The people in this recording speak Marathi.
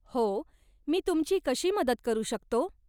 हो, मी तुमची कशी मदत करू शकतो?